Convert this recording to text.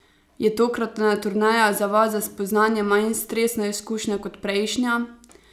Je tokratna turneja za vas za spoznanje manj stresna izkušnja kot prejšnja?